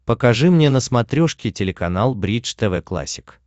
покажи мне на смотрешке телеканал бридж тв классик